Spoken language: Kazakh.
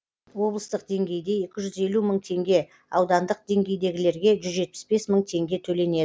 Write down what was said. облыстық деңгейде екі жүз елу мың теңге аудандық деңгейдегілерге жүз жетпіс бес мың теңге төленеді